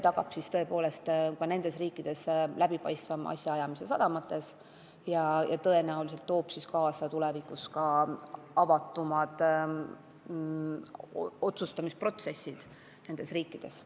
Määrus peab tagama ka nende riikide sadamates läbipaistvama asjaajamise ja tõenäoliselt toob tulevikus kaasa üldse avatumad otsustamisprotsessid nendes riikides.